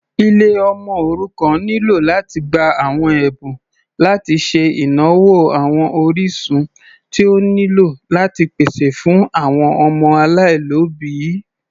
Ilé ọmọ òrukàn nílò láti gbà àwọn Ẹ̀bùn láti ṣe ìnáwó àwọn orísun tí ó nílò láti pèsè fún àwọn ọmọ aláìlóbìí.